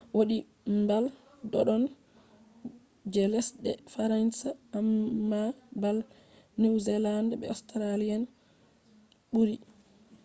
wodi mbal doddon je lesɗe faransa amma bal niwzealand be australia'en ɓuri